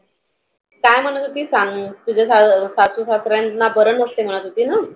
काय म्हणत होती सांग तुझ्या स सासु सासऱ्या बर नव्हत म्हणत होतीना.